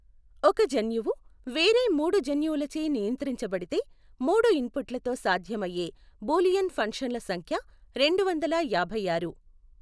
ఒక జన్యువు వేరే మూడు జన్యువులచే నియంత్రించబడితే, మూడు ఇన్పుట్లతో సాధ్యమయ్యే బూలియన్ ఫంక్షన్ల సంఖ్య రెండు వందల యాభైఆరు.